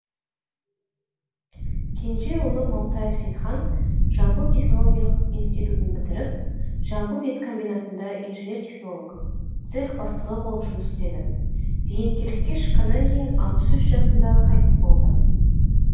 кенже ұлы маутаев сейтхан жамбыл технологиялық институтын бітіріп жамбыл ет комбинатында инженер технолог цех бастығы болып жұмыс істеді зейнеткерлікке шыққаннан кейін алпыс үш жасында қайтыс болды